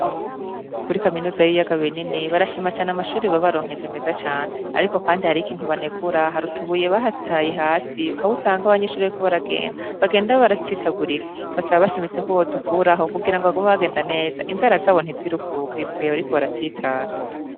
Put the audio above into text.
Kuri kaminuza y'ibiyaga binini, barashima amashure babaronkeje meza cane, ariko kandi hariho ikintu banegura hari utubuye bahataye hasi aho usanga abanyeshure bariko baragenda bagenda baratsitagurika, barasaba bashimitse ko bo dukuraho kugira bagume bagende neza inzira zabo ntizirukuke mu gihe bariko baratsitara.